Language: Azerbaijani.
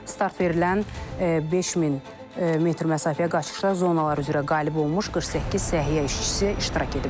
Start verilən 5000 metr məsafəyə qaçışda zonalar üzrə qalib olmuş 48 səhiyyə işçisi iştirak edib.